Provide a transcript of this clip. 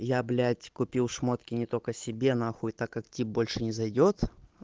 я блять купил шмотки не только себе нахуй и так как тип больше не зайдёт